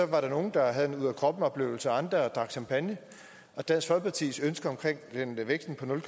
var der nogle der havde en ud af kroppen oplevelse og andre drak champagne og dansk folkepartis ønske om en vækst på nul